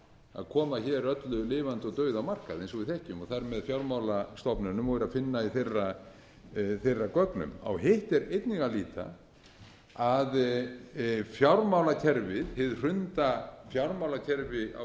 að koma hér öllu lifandi og dauðu á markað eins og við þekkjum og þar með fjármálastofnunum það er að finna í þeirra gögnum á hitt er einnig að líta að fjármálakerfið hið hrunda fjármálakerfi á